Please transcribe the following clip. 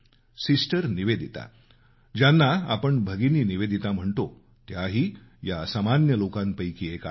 sister Nivedita ज्यांना आपण भगिनी निवेदिता म्हणतो त्याही या असामान्य लोकांपैकी एक आहेत